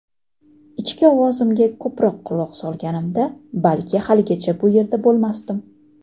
ichki ovozimga ko‘proq quloq solganimda balki haligacha bu yerda bo‘lmasdim.